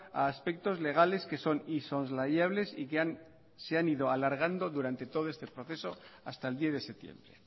a aspectos legales que son insoslayables y que han ido alargando durante todo este proceso hasta el diez de septiembre